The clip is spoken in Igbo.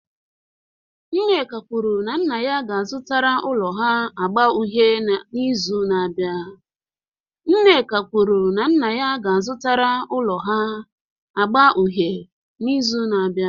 Nneka kwuru na nna ya ga-azụtara ụlọ ha agba uhie n'izu na-abịa.